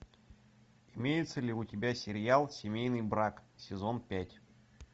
имеется ли у тебя сериал семейный брак сезон пять